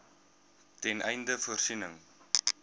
ten einde voorsiening